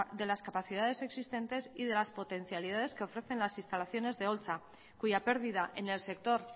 de las capacidades existentes y de las potencialidades que ofrecen las instalaciones de holtza cuya pérdida en el sector